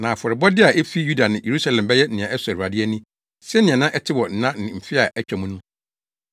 na afɔrebɔde a efi Yuda ne Yerusalem bɛyɛ nea ɛsɔ Awurade ani sɛnea na ɛte wɔ nna ne mfe a atwa mu no.